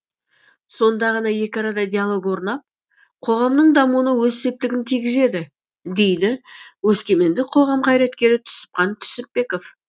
сонда ғана екі арада диалог орнап қоғамның дамуына өз септігін тигізеді дейді өскемендік қоғам қайраткері түсіпхан түсіпбеков